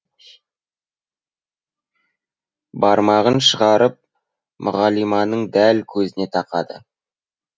бармағын шығарып мұғалиманың дәл көзіне тақады